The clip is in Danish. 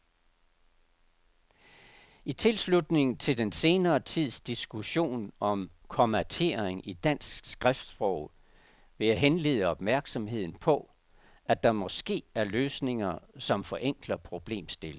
I tilslutning til den senere tids diskussion om kommatering i dansk skriftsprog vil jeg henlede opmærksomheden på, at der måske er løsninger, som forenkler problemstillingen.